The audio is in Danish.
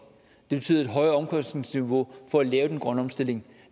det betyder et højere omkostningsniveau for at lave den grønne omstilling